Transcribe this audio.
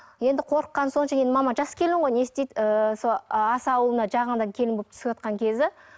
енді қорыққаны сонша енді мама жас келін ғой не істейді ыыы сол аса ауылына жаңадан келін болып түсіватқан кезі